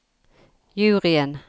juryen